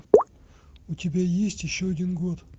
у тебя есть еще один год